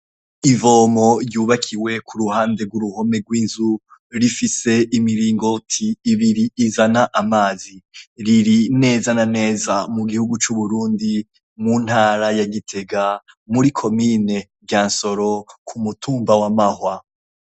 Ivomo ryubakiwe k'uruhande rw'uruhome rw'inzu. Rifise imiringoti ibiri, izana amazi. R' iri neza na neza mu gihugu c'Uburundi, mu ntara ya Gitega, muri komine Ryansoro, k'umutumba wa Mahwa.